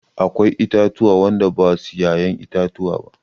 Akwai itatuwa wanda basu ya'yan itatuwa.